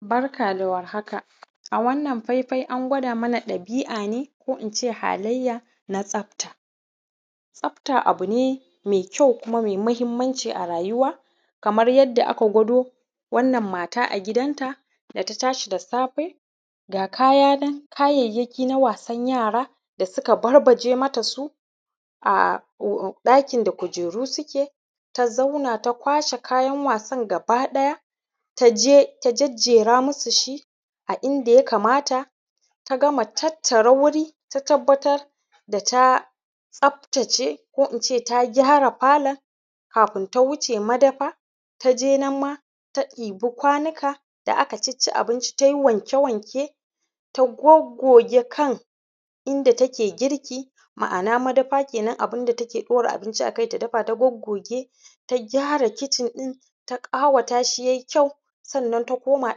Barka da warhaka, a wanann faifai an gwada mana ɗabi‘a ne ko in ce halayya na tsafta, tsafta abu ne me kyau ko in ce me mahinmanci a rayuwa kamar yadda aka gwado wannan mata a gidanta da ta tashi da safe ga kayyaki na wasan yara da suka barbaje mata su a ɗakin da kujeru, suke ta zauna ta kwashe kayan wasan gabaɗaya. Ta je ta jejjera musu shi a inda ya kamata ta gama tattara wuri ta tabbatar da ta tsaftace ko in ce ta gyara falon kafun ta wuce madafa, ta je nan ma ta ɗebi kwanika da aka cicci abinci ta yi wanke-wanke ta goggoge kan inda take girki, ma’ana madafa kenan. Abun da take ɗora abinci akai take dafa ta goggoge ta gyara kicin ɗin ta ƙawata shi ya yi kyau sannan ta koma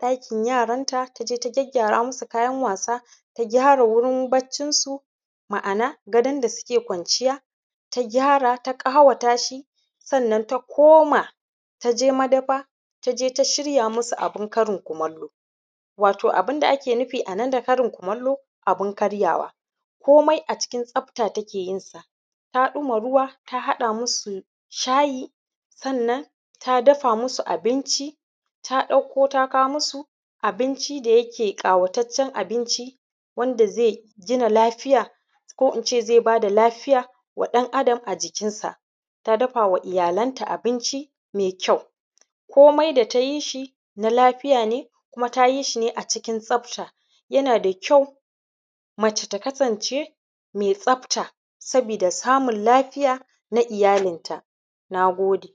ɗakin yaranta, ta je ta gyaggyaara musu kayan wasa ta gyara wurin baccin su, ma’ana gadon da suke gwanciya ta gyara ta ƙawata shi sannan ta koma ta je madafa ta je ta shiya musu abin karin kumallo, wato abun da ake nufi a nan da karin kumallo, abun karyawa, komai a cikin tsafta take yin sa ta ɗumama ruwa ta haɗa musu shayi, sannan ta dafa musu abinci ta ɗauko ta kawo musu abinci da yake ƙawataccen abinci wanda ze gina lafiyar ko in ce ze ba da lafiya wa ɗan’Adam a jikinsa, ta dafa wa iyalansa abinci me kyau komai dai ta yi shi na lafiya ne kuma tayi shi ne a cikin tsfata, yana da kyau mace ta kasance me tsafta sabida samin lafiya na iyalinta. Na gode.